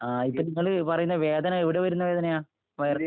ആ... ഇപ്പൊ നിങ്ങള് പറയുന്ന വേദന എവിടെ വരുന്ന വേദനയാ? വയറിന്റെ...